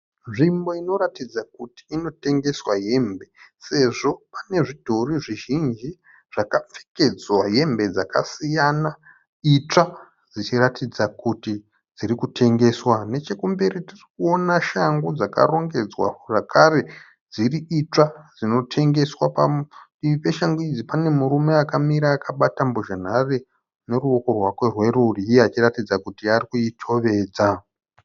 Nzvimbo inoratidza kuti inotengeswa hembe sezvo ine zvidhori zvizhinji zvakapfekedzwa hembe dzakasiyana itsva dzichiratidza kuti dziri kutengeswa. Nechekumberi tiri kuona shangu dzakarongedzwa zvakare dziri itsva dzinotengeswa. Padivi peshangu idzi pane murume akamira akabata mhozhanhare neruoko rwake rwerudyi achiratidza kuti ari kuitovedza.